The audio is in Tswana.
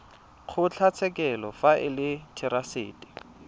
kgotlatshekelo fa e le therasete